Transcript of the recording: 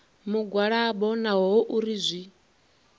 mugwalabo naho hu uri zwi